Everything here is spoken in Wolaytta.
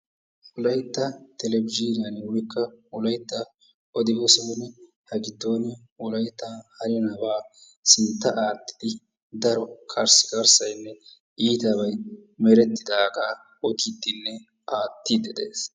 Wolaytta televizhinyaan woyikko wolaytta odi-bessay ha giddon wolaytta handdaba sinttawu aattidi daro karskarssay iitsbay merettidaga odidinne aattidi de'es.